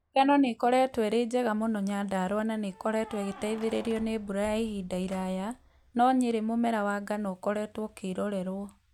Ngano nĩ ĩkoretwo ĩrĩ njega mũno Nyandarua na nĩ ĩkoretwo ĩgĩteithĩrĩrio nĩ mbura ya ihinda iraya, no Nyeri mũmera wa ngano ũkoretwo ũkĩrorerwo.